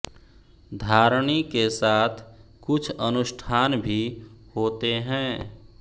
धारणी के साथ कुछ अनुष्ठान भी होते हैं